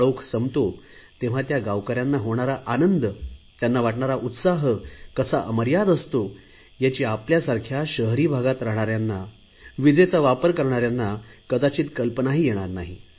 काळोख संपतो तेव्हा त्या गावकऱ्यांना होणारा आनंद त्यांना वाटणारा उत्साह कसा अमर्याद असतो याची आपल्यासारख्या शहरी भागात राहणाऱ्यांना विजेचा वापर करणाऱ्यांना कल्पानाही येणार नाही